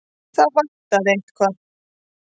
Það vantaði eitthvað.